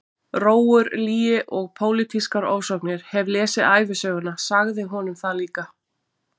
Rógur, lygi og pólitískar ofsóknir, hef lesið ævisöguna- sagði honum það líka!